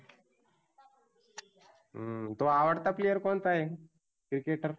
हम्म तुहा आवडता player कोणता आहे? cricketer